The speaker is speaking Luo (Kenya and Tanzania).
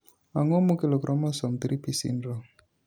ang'o makelo chromosome 3p syndrome?